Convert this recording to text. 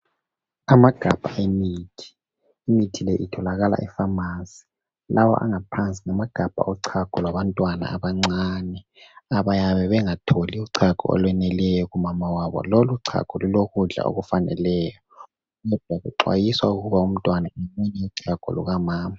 Amagabha emithi, imithi le itholakala efamasi, lawo angaphansi ngamagabha ochago lwabantwana abancane abayabe bengatholi uchago olweneleyo kumama wabo. Loluchago lulokudla okufaneleyo, kuxwayisa ukuba umntwana emunye uchago lukamama.